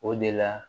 O de la